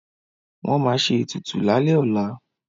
Wọ́n ma ṣe ètùtù lálẹ́ ọlá